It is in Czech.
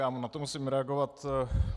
Já na to musím reagovat.